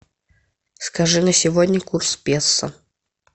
скажи на сегодня курс пессо